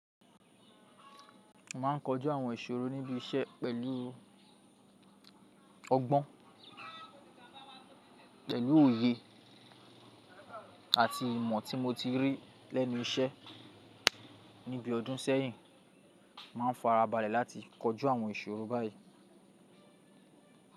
Má a ń kọjú àwọn ìṣòro níbi iṣẹ́ pẹ̀lú ọgbọ́n, pẹ̀lú òye àti ìmọ̀ tí mo ti rí lẹ́nu iṣẹ́ níbi ọdún sẹ́yìn, máa ń fara balẹ̀ láti kọjú àwọn ìṣòro báyìí.